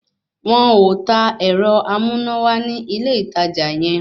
Wọn ò ta àwọn ẹ̀rọ amúnáwá ní ilé ìtajà yẹ